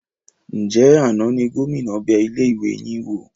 Ńjẹ̀ àná ni Gómìnà bẹ ilé ìwé yín wò?